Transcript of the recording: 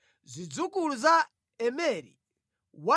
Zidzukulu za Pasuri 1,247